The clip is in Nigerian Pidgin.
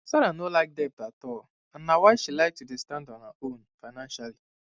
sarah no like debt at all and na why she like to dey stand on her own financially